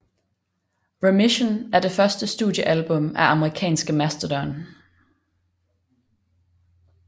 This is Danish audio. Remission er det første studiealbum af amerikanske Mastodon